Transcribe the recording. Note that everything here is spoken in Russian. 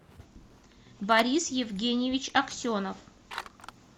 борис евгеньевич аксенов